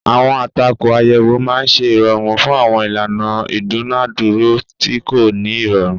Àwọn àtakò àyẹ̀wò máa ń ṣe ìrọ̀rùn fún àwọn ìlànà ìdúnàádúrà tí kò ní ìrọ̀rùn.